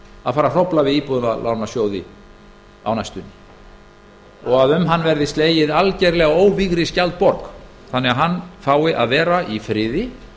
að fara að hrófla við íbúðalánasjóði á næstunni og um hann verði slegið alveg óvígri skjaldborg þannig að hann fái að vera í friði